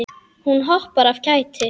Hún hoppar af kæti.